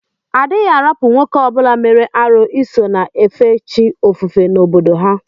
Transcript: Adighi arapu nwoke obula mere arụ iso na efe chi ofufe na obodo ahu.